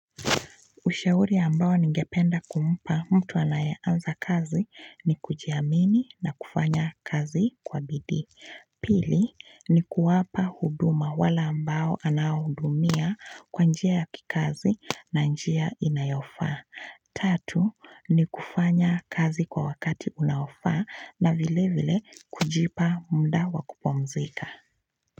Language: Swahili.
Ushauri ambao ningependa kumpa mtu anayeanza kazi ni kujiamini na kufanya kazi kwa bidii. Pili, ni kuwapa huduma wale ambao anahudumia kwa njia ya kikazi na njia inayofaa. Tatu, ni kufanya kazi kwa wakati unaofaa na vile vile kujipa mda wa kupumzika.